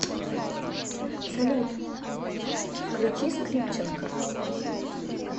салют включи скрипченко